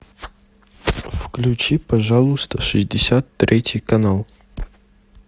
включи пожалуйста шестьдесят третий канал